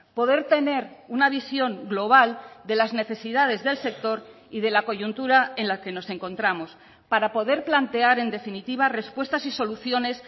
poder tener una visión global de las necesidades del sector y de la coyuntura en la que nos encontramos para poder plantear en definitiva respuestas y soluciones